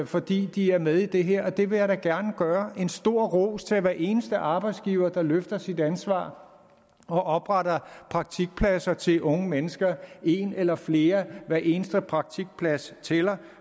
fordi de er med i det her det vil jeg da gerne gøre en stor ros til hver eneste arbejdsgiver der løfter sit ansvar og opretter praktikpladser til unge mennesker en eller flere hver eneste praktikplads tæller